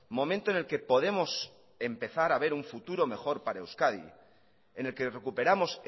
momento en el que podemos empezar a ver un futuro mejor para euskadi en el que recuperamos